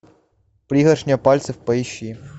пригоршня пальцев поищи